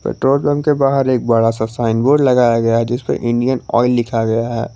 Petrol pump के बाहर एक बड़ा सा साइन बोर्ड लगाया गया है जिस पर इंडियन ऑयल लिखा गया है।